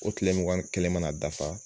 O kile mugan ni kelen mana dafa